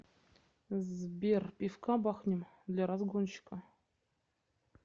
сбер пивка бахнем для разгончика